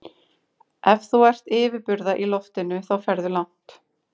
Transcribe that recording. Ef þú ert yfirburða í loftinu þá ferðu langt.